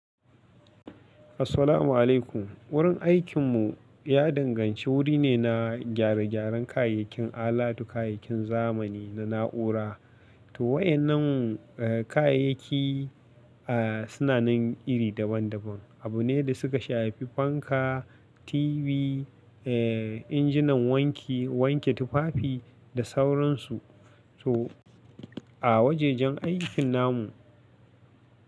Assalamu'alaikum. Wurin aikinmu ya danganci wuri ne na gyare-gyaren kayayyakin alatu, kayayyakin zamani na na'ura. To waɗannan, eh, kayayyaki, ah, suna nan iri daban-daban. Abune da suka shafi fanka, TV, eh, injinan wanki, wanke tufafi da sauransu. To a wajajen aikin namu.